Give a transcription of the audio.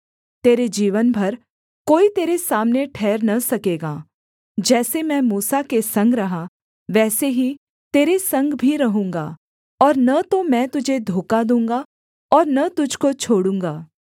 तेरे जीवन भर कोई तेरे सामने ठहर न सकेगा जैसे मैं मूसा के संग रहा वैसे ही तेरे संग भी रहूँगा और न तो मैं तुझे धोखा दूँगा और न तुझको छोड़ूँगा